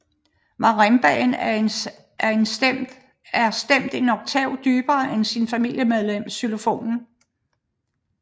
Marimbaen er stemt en oktav dybere end sit familiemedlem xylofonen